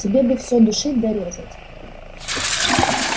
тебе бы все душить да резать